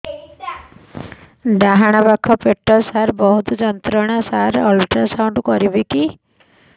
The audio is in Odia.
ଡାହାଣ ପାଖ ପେଟ ସାର ବହୁତ ଯନ୍ତ୍ରଣା ସାର ଅଲଟ୍ରାସାଉଣ୍ଡ କରିବି କି